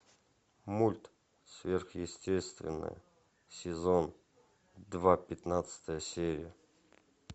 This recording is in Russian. мульт сверхъестественное сезон два пятнадцатая серия